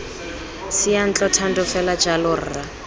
seyantlo thando fela jalo rra